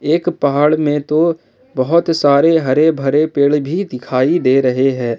एक पहाड़ में तो बहुत सारे हरे भरे पेड़ भी दिखाई दे रहे हैं।